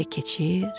Gecə keçir,